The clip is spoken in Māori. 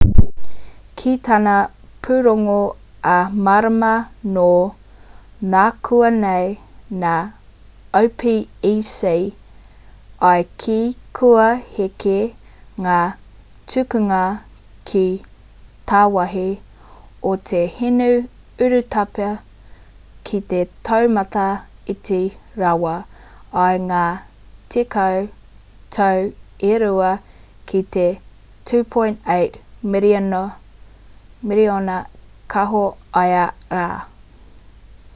ki tana pūrongo ā-marama nō nākuanei nā opec i kī kua heke ngā tukunga ki tāwāhi o te hinu urutapu ki te taumata iti rawa i ngā tekau tau e rua ki te 2.8 miriona kāho ia rā